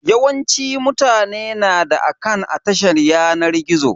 Yawancin mutane na da akant a tashar yanar gizo.